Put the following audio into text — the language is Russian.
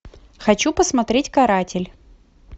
хочу посмотреть каратель